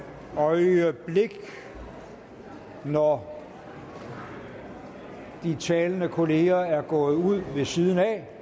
øjeblik når de talende kolleger er gået ud